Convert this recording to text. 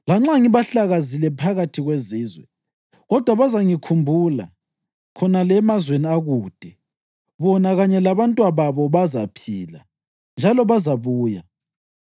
Lanxa ngibahlakazile phakathi kwezizwe, kodwa bazangikhumbula khonale emazweni akude. Bona kanye labantwababo bazaphila, njalo bazabuya.